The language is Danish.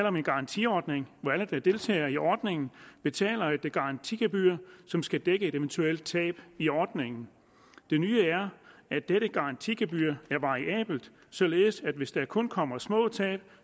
om en garantiordning hvor alle der deltager i ordningen betaler et garantigebyr som skal dække et eventuelt tab i ordningen det nye er at dette garantigebyr er variabelt således at hvis der kun kommer små tab